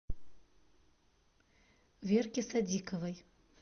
верке садиковой